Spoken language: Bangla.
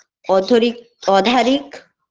অথরিক অধারিক